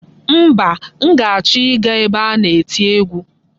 Mba, m ga-achọ ịga ebe a na-eti egwu.